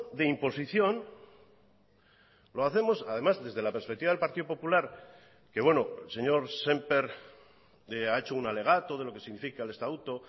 de imposición lo hacemos además desde la perspectiva del partido popular que bueno el señor semper ha hecho un alegato de lo que significa el estatuto